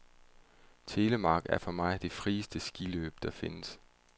Telemark er for mig det frieste skiløb der findes.